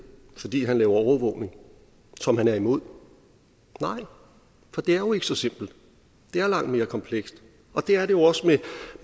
fordi han laver overvågning som han er imod nej for det er jo ikke så simpelt det er langt mere komplekst det er det også med